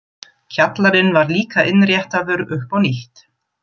Kjallarinn var líka innréttaður upp á nýtt.